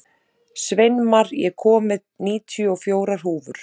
Sveinmar, ég kom með níutíu og fjórar húfur!